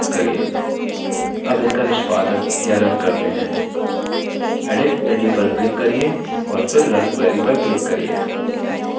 अब इसका निष्पादन या now करते हैं edit menu पर click करिये और फिर run query पर click करिये